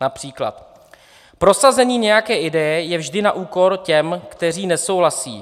Například prosazení nějaké ideje je vždy na úkor těch, kteří nesouhlasí."